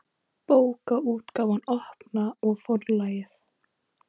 Bókaútgáfan Opna og Forlagið.